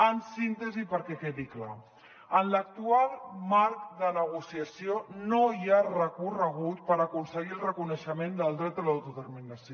en síntesi perquè quedi clar en l’actual marc de negociació no hi ha recorregut per aconseguir el reconeixement del dret a l’autodeterminació